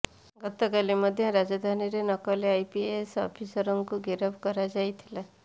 ଗତ କାଲି ମଧ୍ୟ ରାଜଧାନୀରେ ନକଲି ଆଇପିଏସ ଅଫିସରକୁ ଗିରଫ କରାଯାଇଥିଲା